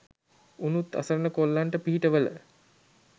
උනුත් අසරණ කොල්ලොන්ට පිහිටවල